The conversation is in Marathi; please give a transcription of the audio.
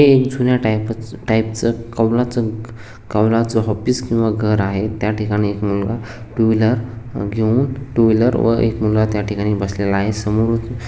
हे एक जुन्या टाइप च टाइप च कावलाच कवलाच ऑफिस किंवा घर आहे त्या ठिकाणी एक मुलगा टू व्हीलर घेवून टू व्हीलर व एक मुलगा त्या ठिकाणी बसलेला आहे समोरून --